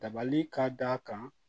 Dabali ka d'a kan